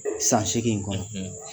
San seegin in kɔnɔ.